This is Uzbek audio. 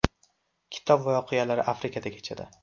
Kitob voqealari Afrikada kechadi.